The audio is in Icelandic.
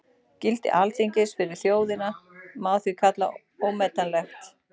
Gildi Alþingis fyrir þjóðina má því kalla ómetanlegt.